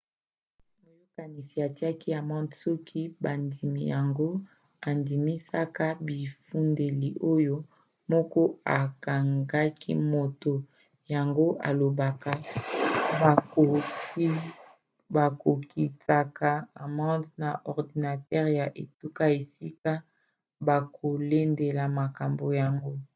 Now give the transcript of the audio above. moyokanisi atiaka amande soki bandimi yango andimisaka bifundeli oyo moto akangaki moto yango alobaka. bakokitsaka amande na ordinatere ya etuka esika bakolandela likambo yango